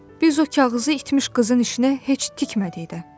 Biz o kağızı itmiş qızın işinə heç tikmədik də.